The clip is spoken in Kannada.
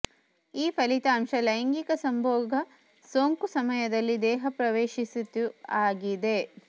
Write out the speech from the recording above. ಈ ಫಲಿತಾಂಶ ಲೈಂಗಿಕ ಸಂಭೋಗ ಸೋಂಕು ಸಮಯದಲ್ಲಿ ದೇಹದ ಪ್ರವೇಶಿಸಿತು ಆಗಿದೆ